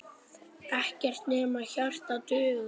Ekkert nema hjarta dugar.